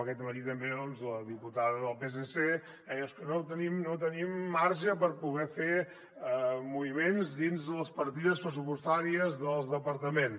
aquest matí també la diputada del psc deia és que no tenim marge per poder fer moviments dins les partides pressupostàries dels departaments